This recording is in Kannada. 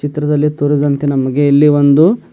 ಚಿತ್ರದಲ್ಲಿ ತೋರಿಸಿದಂತೆ ನಮ್ಗೆ ಇಲ್ಲಿ ಒಂದು--